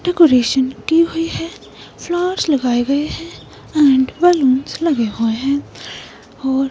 decoration की हुई है फ्लावर्स लगाए गए हैं एंड बलूंस लगे हुए हैं और--